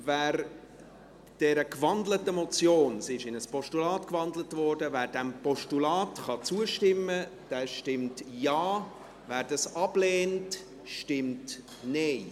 Wer dieser gewandelten Motion – sie wurde in ein Postulat gewandelt – zustimmen kann, stimmt Ja, wer dies ablehnt, stimmt Nein.